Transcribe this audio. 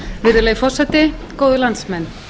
virðulegi forseti góðir landsmenn